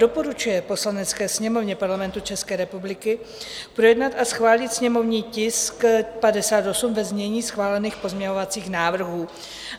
doporučuje Poslanecké sněmovně Parlamentu České republiky projednat a schválit sněmovní tisk 58 ve znění schválených pozměňovacích návrhů."